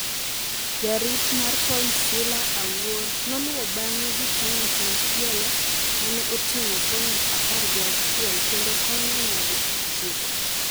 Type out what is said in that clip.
Jarit mar point Sila Awuor noluwo bang’e gi point machielo ma ne oting’o point apr gi auchiel kendo konyo nyadi chiko